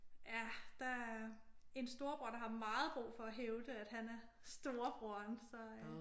Ja. Der er en storebror der har meget brug for at hævde at han er storebroren så øh